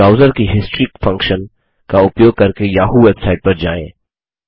browser की history function का उपयोग करके याहू वेबसाइट पर जाएँ